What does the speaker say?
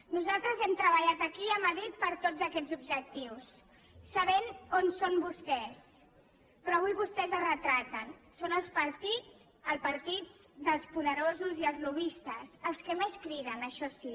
nosaltres hem treballat aquí i a madrid per tots aquests objectius sabent on són vostès però avui vostès es retraten són el partit dels poderosos i els lobbistes els que més criden això sí